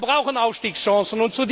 Wir brauchen Aufstiegschancen.